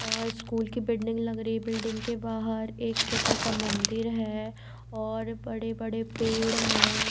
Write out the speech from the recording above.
और स्कूल की बिल्डिंग लग रही है बिल्डिंग के बाहर एक छोटा सा मंदिर है और बड़े-बड़े पेड़ हैं।